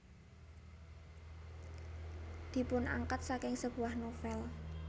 Dipunangkat saking sebuah novel